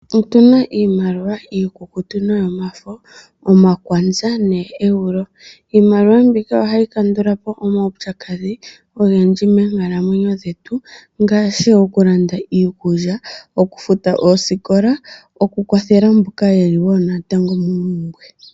Otuna iimaliwa iikukutu noyomafo omakwanza neEuro. Iimaliwa mbika ohayi kandulapo omaupyakadhi ogendji moonkalamwenyo dhetu ngaashi okulanda iikulya, okufuta oosikola nokukwathela mboka yeli natango moompumbwe.